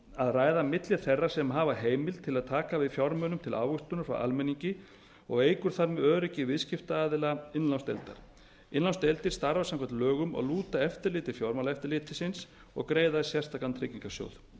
að ræða milli þeirra sem hafa heimild til að taka við fjármunum til ávöxtunar frá almenningi og eykur þar með öryggi viðskiptaaðila innlánsdeildar innlánsdeildir starfa samkvæmt lögum og lúta eftirliti fjármálaeftirlitsins og greiða í sérstakan tryggingarsjóð það